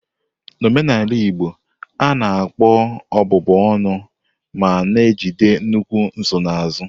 N'omenala Igbo, a na-akpọ ọbụbụ ọnụ ma na-ejide nnukwu nsonaazụ.